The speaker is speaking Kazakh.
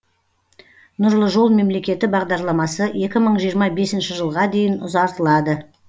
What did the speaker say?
нұрлы жол мемлекеті бағдарламасы екі мың жиырма бесінші жылға дейін ұзартылады